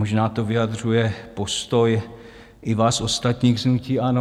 Možná to vyjadřuje postoj i vás ostatních z hnutí ANO.